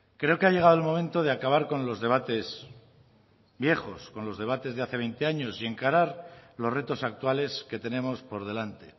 creo que ha llegado el momento de acabar con los debates viejos con los debates de hace veinte años y encarar los retos actuales que tenemos por delante